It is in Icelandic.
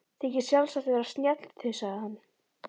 Þykist sjálfsagt vera snjall, þusaði hann.